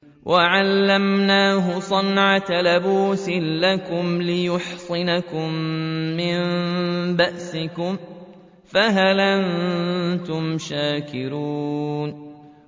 وَعَلَّمْنَاهُ صَنْعَةَ لَبُوسٍ لَّكُمْ لِتُحْصِنَكُم مِّن بَأْسِكُمْ ۖ فَهَلْ أَنتُمْ شَاكِرُونَ